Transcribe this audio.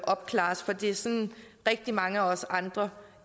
opklares for det er sådan rigtig mange af os andre